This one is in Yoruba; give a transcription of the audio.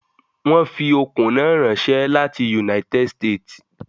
I do not like to wear lace on Fridays